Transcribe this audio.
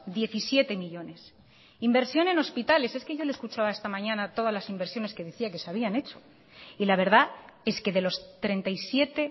diecisiete millónes inversión en hospitales es que le he escuchado esta mañana todas las inversiones que decía que se habían hecho y la verdad es que de los treinta y siete